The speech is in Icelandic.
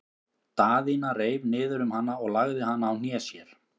Daðína reif niður um hana og lagði hana á hné sér.